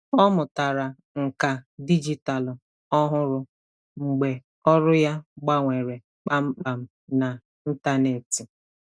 Ọ mụtara nkà dijitalụ ọhụrụ mgbe ọrụ ya gbanwere kpamkpam na ntanetị.